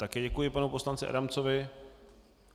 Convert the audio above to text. Také děkuji panu poslanci Adamcovi.